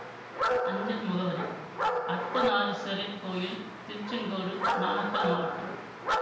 அஞ்சல் முகவரி அர்த்தநாரீசுவரர் கோயில் திருச்செங்கோடு நாமக்கல் மாவட்டம்